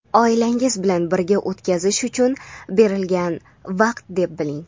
oilangiz bilan birga o‘tkazish uchun berilgan vaqt deb biling!.